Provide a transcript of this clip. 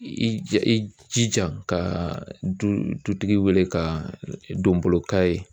I i jija ka du dutigi wele ka donbolo ka ye